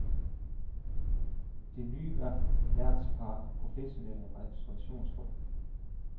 Det nye værtspar er professionelle restaurationsfolk.